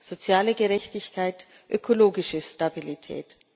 soziale Gerechtigkeit, ökologische Stabilität.